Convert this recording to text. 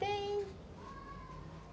Tem.